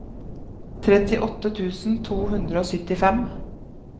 trettiåtte tusen to hundre og syttifem